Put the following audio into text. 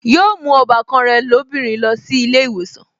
Yóò mú ọbàkan rẹ̀ lóbìnrin lọ sí ilé ìwòsàn